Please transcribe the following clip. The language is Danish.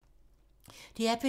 DR P2